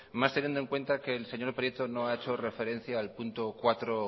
más teniendo en cuenta que el señor prieto no ha hecho referencia al punto cuatro